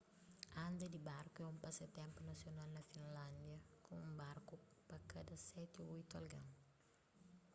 anda di barku é un pasatenpu nasional na finlándia ku un barku pa kada seti ô oitu algen